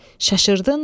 Şaşırdınmı?